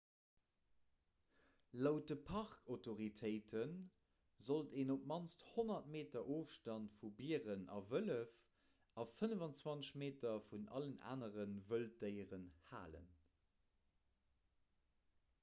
laut de parkautoritéite sollt een op d'mannst 100 meter ofstand vu bieren a wëllef a 25 meter vun allen anere wëlddéieren halen